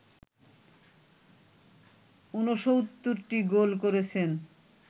৬৯টি goal করেছেন